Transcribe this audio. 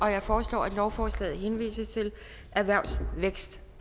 jeg foreslår at lovforslaget henvises til erhvervs vækst